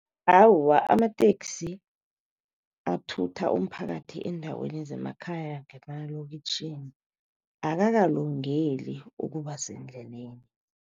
Awa, amateksi athutha umphakathi eendaweni zemakhaya nemalokitjhini akakalungeli ukuba sendleleni.